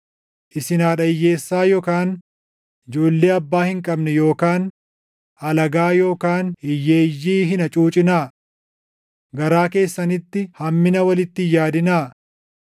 Isin haadha hiyyeessaa yookaan ijoollee abbaa hin qabne yookaan alagaa yookaan hiyyeeyyii hin hacuucinaa. Garaa keessanitti hammina walitti hin yaadinaa.’